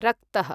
रक्तः